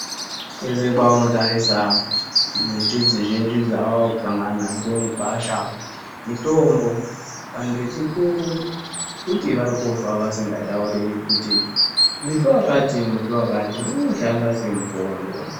Kwese kwaunotarise miti dzizhinji dzawaakusangana nadzo mugwasha mitombo. Antu echikuru kuti varikufa vasikatauri kuti muti wakati muti wakati unoshanda semutombo.